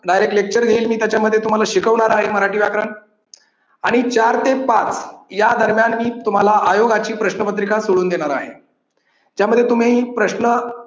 directlecture घेईल मी त्याच्यामध्ये तुम्हाला शिकवणार आहे मराठी व्याकरण आणि चार ते पाच या दरम्यान मी तुम्हाला आयोगाची प्रश्नपत्रिका सोडून घेणार आहे. त्यामध्ये तुम्ही प्रश्न